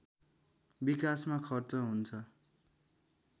विकासमा खर्च हुन्छ